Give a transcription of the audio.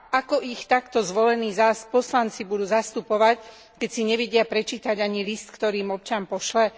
Ako ich takto zvolení zas poslanci budú zastupovať, keď si nevedia prečítať ani list, ktorí im občan pošle?